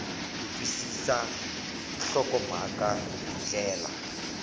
ku twisisa nhlokomhaka hi ndlela